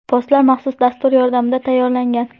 Postlar maxsus dastur yordamida tayyorlangan.